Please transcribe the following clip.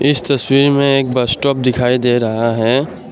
इस तस्वीर में एक बसस्टॉप दिखाई दे रहा है।